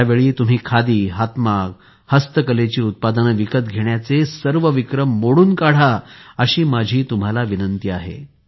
यावेळी तुम्ही खादी हातमाग हस्तकलेची उत्पादने विकत घेण्याचे सर्व विक्रम मोडून काढा अशी माझी तुम्हाला विनंती आहे